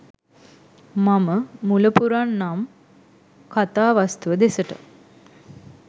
මම මුල පුරන්නම් කතා වස්තුව දෙසට